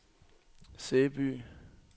Sæby